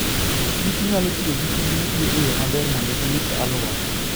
kich nyalo tiyo gikich mochwe e yo maber mondo girit alwora.